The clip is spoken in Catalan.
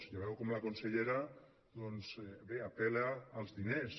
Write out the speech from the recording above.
ja veu com la consellera doncs bé apel·la als diners